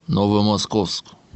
новомосковск